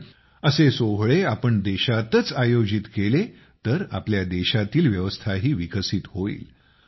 पण असे सोहळे आपण देशातच आयोजित केले तर आपल्या देशातील व्यवस्थाही विकसित होईल